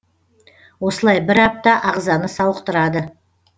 осылай бір апта ағзаны сауықтырады